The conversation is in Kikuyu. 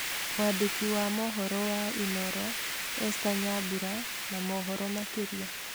Mwandĩki wa mohoro wa Inooro Esther Nyambura na mohoro makĩria.